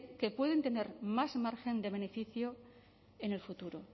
que pueden tener más margen de beneficio en el futuro